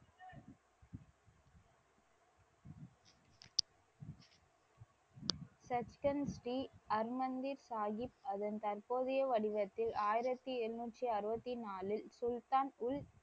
சச்கன்த் ஸ்ரீ ஹர்மந்திர் சாஹிப் அதன் தற்போதைய வடிவத்தில் ஆயிரத்தி எண்ணூற்றி அறுவத்தி நாலில் சுல்தான் உல்,